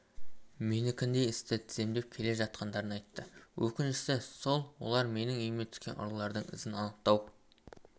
менікіндей істі тізімдеп келе жатқандарын айтты өкініштісі сол олар менің үйіме түскен ұрылардың ізін анықтау